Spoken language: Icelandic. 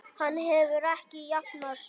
Hann hefur ekki jafnað sig.